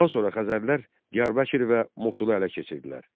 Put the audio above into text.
Daha sonra Xəzərlər Diyarbəkir və Mosulu ələ keçirdilər.